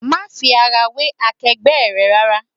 Má fi ara wé akegbe rẹ rárá!